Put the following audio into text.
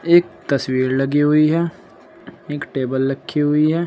एक तस्वीर लगी हुई है एक टेबल रखी हुई है।